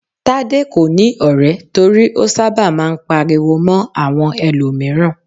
Tade kò ní ọ̀rẹ́ torí ó sábà máa ń pariwo mọ́ àwọn ẹlòmíràn.